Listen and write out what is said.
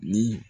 Ni